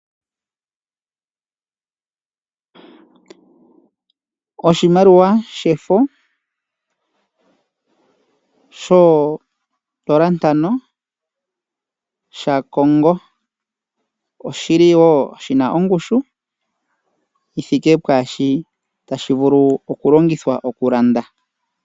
Oshimaliwa shefo shoondola ntano sha Congo, oshili woo shi na ongushu yi thike pwaa shi tashi vulu okulongithwa okulanda.